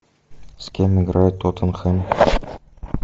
с кем играет тоттенхэм